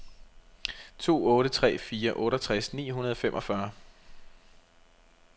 to otte tre fire otteogtres ni hundrede og femogfyrre